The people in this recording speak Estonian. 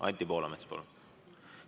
Anti Poolamets, palun!